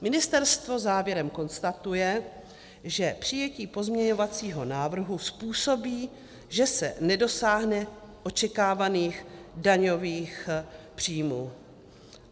Ministerstvo závěrem konstatuje, že přijetí pozměňovacího návrhu způsobí, že se nedosáhne očekávaných daňových příjmů.